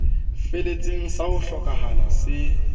feletseng sa ho hlokahala se